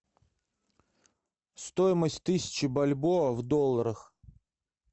стоимость тысячи бальбоа в долларах